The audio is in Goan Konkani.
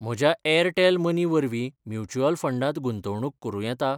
म्हज्या एअरटेल मनी वरवीं म्युच्युअल फंडांत गुंतवणूक करूं येता?